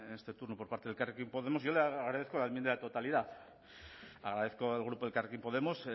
este turno por parte de elkarrekin podemos yo le agradezco la enmienda de totalidad agradezco al grupo de elkarrekin podemos